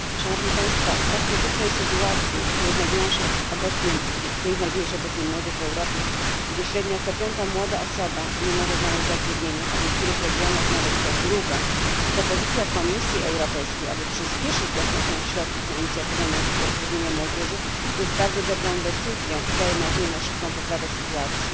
W tak krytycznej sytuacji, w której znajduje się obecnie młodzież w Europie, gdzie średnio co piąta młoda osoba nie może znaleźć zatrudnienia, a w niektórych regionach nawet co druga, propozycja Komisji Europejskiej, aby przyśpieszyć dostępność środków na Inicjatywę na rzecz zatrudnienia ludzi młodych jest bardzo dobrą decyzją i daje nadzieję na szybką poprawę sytuacji.